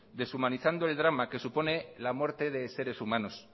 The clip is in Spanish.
deshumanizando el drama que supone la muerte de seres humanos